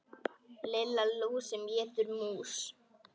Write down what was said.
Lilla lús sem étur mús.